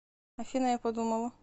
афина я подумала